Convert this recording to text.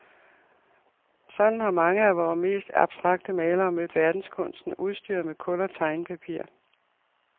Sådan har mange af vore mest abstrakte malere mødt verdenskunsten, udstyret med kul og tegnepapir.